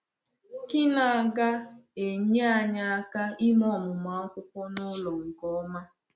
Kí n’gà enyé anyị aka ime ọmụmụ akwụkwọ n’ụlọ nke ọma?